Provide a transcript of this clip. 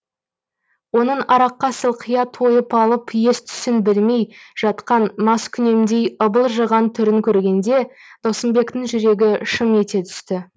оның араққа сылқия тойып алып ес түсін білмей жатқан маскүнемдей ыбылжыған түрін көргенде досымбектің жүрегі шым ете түсті